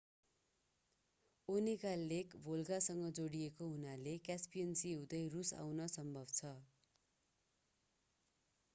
Onega lake भोल्गासँग जोडिएको हुनाले क्यासपियन सी हुँदै रूस आउन सम्भव छ